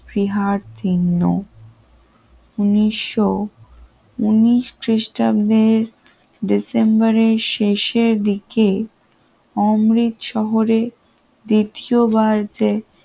ফিহার চিহ্ন উন্নিশ উন্নিশ খ্রিস্টাব্দের ডিসেম্বরের শেষের দিকে অমৃতসরে দ্বিতীয়বার যে